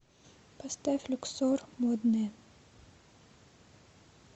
поставь люксор модные